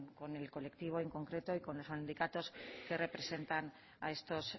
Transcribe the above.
con el colectivo en concreto y con los sindicatos que representan a estos